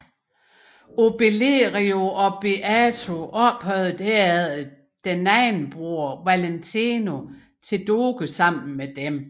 Obelerio og Beato ophøjede herefter deres anden bror Valentino til doge sammen med dem